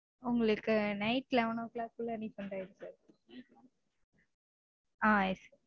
உங்களுக்கு night eleven o clock -குள்ள refund ஆயிரும் sir. Ah yes